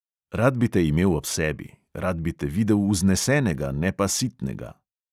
Rad bi te imel ob sebi, rad bi te videl vznesenega, ne pa sitnega.